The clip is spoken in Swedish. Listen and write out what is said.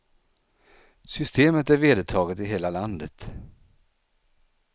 Systemet är vedertaget i hela landet.